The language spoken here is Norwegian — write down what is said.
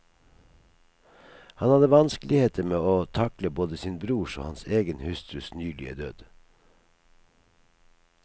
Han hadde vanskeligheter med å takle både sin brors og hans egen hustrus nylige død.